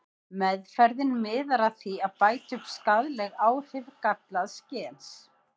Meðferðin miðar að því að bæta upp skaðleg áhrif gallaðs gens.